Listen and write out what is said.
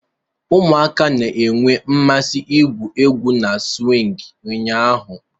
Ụmụaka na-enwe mmasị igwu egwu na swing ụnyaahụ.